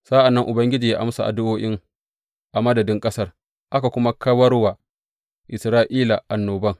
Sa’an nan Ubangiji ya amsa addu’o’in a madadin ƙasar, aka kuma kawar wa Isra’ila annoban.